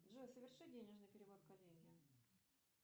джой соверши денежный перевод коллеге